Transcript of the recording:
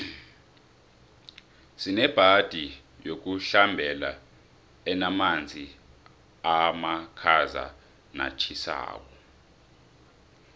sinebhadi yokuhlambela enamanzi amakhazanatjhisako